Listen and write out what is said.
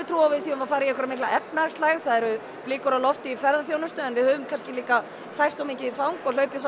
trú á að við séum að fara í mikla efnahagslægð það eru blikur á lofti í ferðaþjónustu en við höfum kannski líka færst of mikið í fang og hlaupið